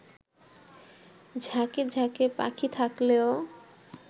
ঝাঁকে ঝাঁকে পাখি থাকলেও